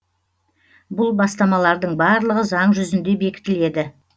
бұл бастамалардың барлығы заң жүзінде бекітіледі